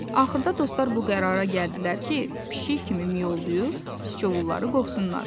Axırda dostlar bu qərara gəldilər ki, pişik kimi miyovlayıb Siçovulları qovsunlar.